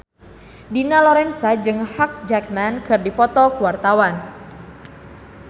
Dina Lorenza jeung Hugh Jackman keur dipoto ku wartawan